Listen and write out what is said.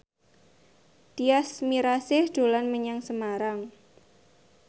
Tyas Mirasih dolan menyang Semarang